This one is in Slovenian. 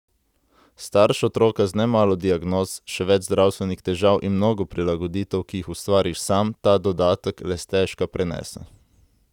Starš otroka z nemalo diagnoz, še več zdravstvenih težav in mnogo prilagoditev, ki jih ustvariš sam, ta dodatek le stežka prenese.